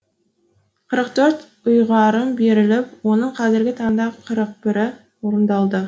қырық төрт ұйғарым беріліп оның қазіргі таңда қырық бірі орындалды